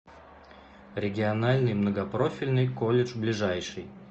региональный многопрофильный колледж ближайший